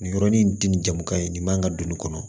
Nin yɔrɔnin tɛ nin jamu kaɲi nin man kan ka don nin kɔnɔ